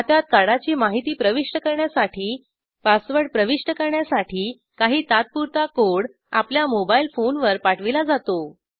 खात्यात कार्डाची माहिती प्रविष्ट करण्यासाठी पासवर्ड प्रविष्ट करण्यासाठी काही तात्पुरता कोड आपल्या मोबाईल फोनवर पाठविला जातो